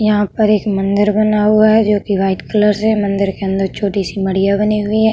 यहाँ पर एक मंदिर बना हुआ है जो कि व्हाइट कलर से मंदिर के अंदर छोटी-सी मढ़िया बनी हुई है।